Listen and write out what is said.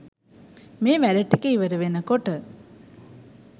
මේ වැඩ ටික ඉවර වෙනකොට